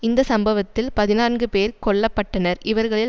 இந்த சம்பவத்தில் பதினான்கு பேர் கொல்ல பட்டனர் இவர்களில்